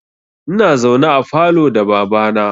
Ina zaune a falo da baba na